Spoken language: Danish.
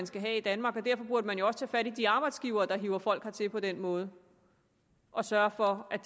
skal have i danmark derfor burde man jo også tage fat i de arbejdsgivere der hiver folk hertil på den måde og sørge for at